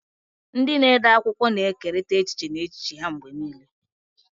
Ndị na-ede akwụkwọ na-ekerịta echiche na echiche ha mgbe niile.